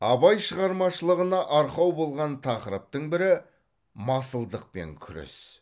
абай шығармашылығына арқау болған тақырыптың бірі масылдықпен күрес